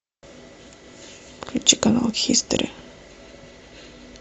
включи канал хистори